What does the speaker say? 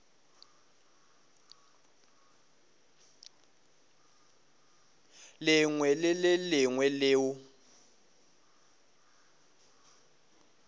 lengwe le le lengwe leo